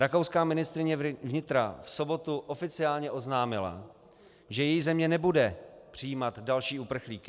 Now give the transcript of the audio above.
Rakouská ministryně vnitra v sobotu oficiálně oznámila, že její země nebude přijímat další uprchlíky.